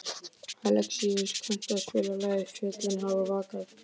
Alexíus, kanntu að spila lagið „Fjöllin hafa vakað“?